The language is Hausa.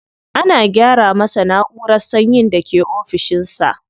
Ana gyara masa na'urar sanyin da ke ofishin sa.